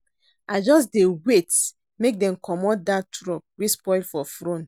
I just dey wait make dem comot dat truck wey spoil for front.